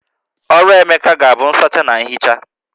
Ọrụ Emeka ga-abụ nsacha na ihicha